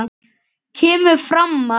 kemur fram að